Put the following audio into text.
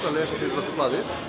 að lesa fyrir okkur blaðið